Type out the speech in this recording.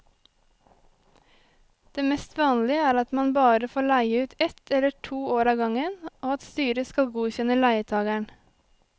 Det mest vanlige er at man bare får leie ut ett til to år av gangen, og at styret skal godkjenne leietageren.